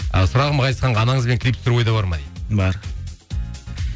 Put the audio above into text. сұрағым ғазизханға анаңызбен клип түсіру ойда бар ма дейді бар